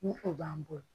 Ni o b'an bolo